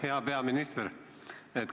Hea peaminister!